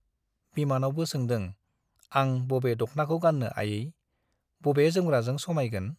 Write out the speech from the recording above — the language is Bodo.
बिमानावबो सोंदों आं बबे दख्नाखौ गान्नो आयै, बबे जोमग्राजों समाइगोन ?